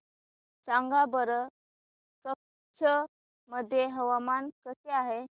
सांगा बरं कच्छ मध्ये हवामान कसे आहे